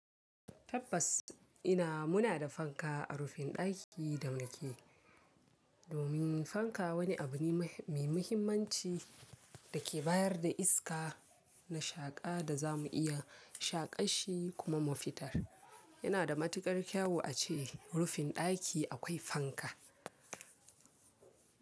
Tabbas ina muna da fanka a rufin ɗaki da mu ke. Domin fanka wani abu ne mai muhimmanci da ke bayar da iska na shaƙa da za mu iya shaƙa shi kuma mu fitar. Yana da matukar kyau a ce rufin ɗaki akwai fanka.